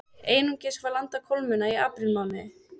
Einungis var landað kolmunna í aprílmánuði